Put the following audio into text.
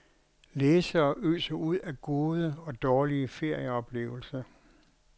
Læsere øser ud af gode og dårlige ferieoplevelser.